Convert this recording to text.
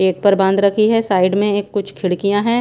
पेट पर बांध रखी हैं साइड में एक कुछ खिड़कियां हैं।